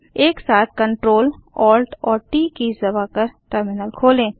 एक साथ Ctrl Alt और ट कीज़ दबाकर टर्मिनल खोलें